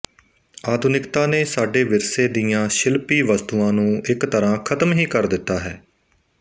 ਆਧੁਨਿਕਤਾ ਨੇ ਸਾਡੇ ਵਿਰਸੇ ਦੀਆਂ ਸ਼ਿਲਪੀ ਵਸਤੂਆਂ ਨੂੰ ਇੱਕ ਤਰ੍ਹਾਂ ਖ਼ਤਮ ਹੀ ਕਰ ਦਿੱਤਾ ਹੈ